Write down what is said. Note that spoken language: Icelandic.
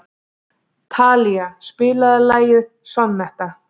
Talía, spilaðu lagið „Sonnetta“.